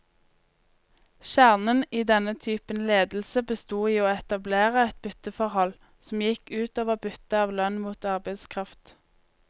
Kjernen i denne typen ledelse bestod i å etablere et bytteforhold, som gikk ut over byttet av lønn mot arbeidskraft.